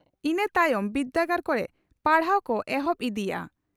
ᱤᱱᱟᱹ ᱛᱟᱭᱚᱢ ᱵᱤᱨᱫᱟᱹᱜᱟᱲ ᱠᱚᱨᱮ ᱯᱟᱲᱦᱟᱣ ᱠᱚ ᱮᱦᱚᱵ ᱤᱫᱤᱜᱼᱟ ᱾